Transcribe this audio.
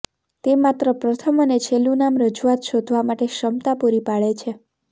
તે માત્ર પ્રથમ અને છેલ્લું નામ રજૂઆત શોધવા માટે ક્ષમતા પૂરી પાડે છે